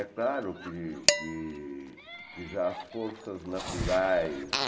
É claro que que que já as forças naturais